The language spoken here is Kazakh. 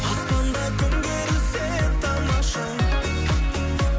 аспанда күн керілсе тамаша